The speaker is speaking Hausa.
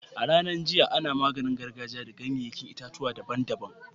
A'ranan jiya, ana maganin gargajia da ganyen yayan itatuwa daban-daban.